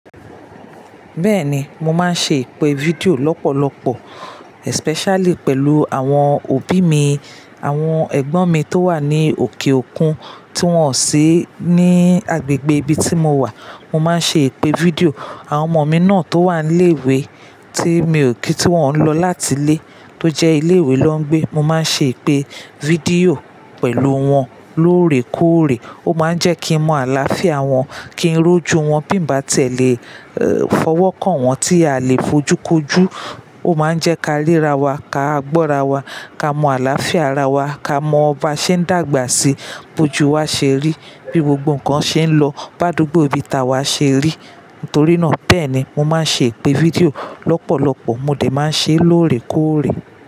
Bẹ́ẹ̀ni, mo máa ń ṣe ìpè video lọ́pọ̀lọpọ̀ especially pẹ̀lú àwọn òbí mi, àwọn ẹ̀gbọ́n mi tó wà ní òkè òkun tí wọ́n ò sí ní agbègbè ibi tí mo wà. Mo máa ń ṣe ìpè fídíò àwọn ọmọ mi náà tó wà ní ilé-ìwé tí mi ò kí tí wọ́n ń lọ láti ilé tó jẹ́ ilé-ìwé lọ́ńgbẹ́. Mo máa ń ṣe ìpè fídíò pẹ̀lú wọn lóòrèkóòrè. Ó máa ń jẹ́ kí n mọ àlàáfíà wọn, kí n rójú wọn. Bí mo bá tiẹ̀ lé eeh fọwọ́ kàn wọn tí a lè fojú kojú, ó máa ń jẹ́ ká ríra wa, ká gbọ́ra wa, ká mọ àlàáfíà ara wa, ká mọ ba ṣe ń dàgbà sí i, bójú wa ṣe rí, bí gbogbo nǹkan ṣe ń lọ, bi ádùgbò ibi ta wa ṣe rí. Nítorí náà bẹ́ẹ̀ ni mo máa ń ṣe ìpè fídíò lọ́pọ̀lọpọ̀. Mo dè máa ń ṣe é lóòrèkóòrè.